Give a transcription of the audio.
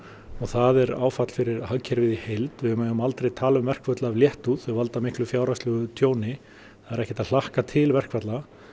og það er áfall fyrir hagkerfið í heild við megum aldrei tala um verkföll af léttúð þau valda miklu fjárhagslegu tjóni það er ekki hægt að hlakka til verkfalla